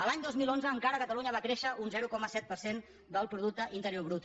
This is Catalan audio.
l’any dos mil onze encara catalunya va créixer un zero coma set per cent del producte interior brut